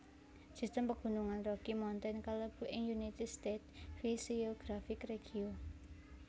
Sistem Pegunungan Rocky Mountain kalebu ing United States physiographic regio